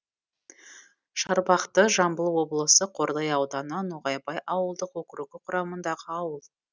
шарбақты жамбыл облысы қордай ауданы ноғайбай ауылдық округі құрамындағы ауыл